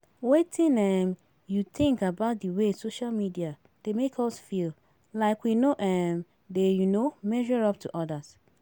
Wetin um you think about di way social media dey make us feel like we no um dey um measure up to odas?